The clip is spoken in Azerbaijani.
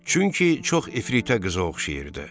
Çünki çox efritə qıza oxşayırdı.